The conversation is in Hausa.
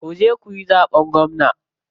Kuje kuyi zaɓen gwamna.